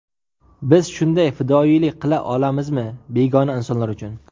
Biz shunday fidoyilik qila olamizmi begona insonlar uchun?